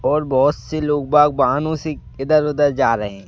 और बहुत से लोग बाग वाहानों से इधर उधर जा रहे हैं।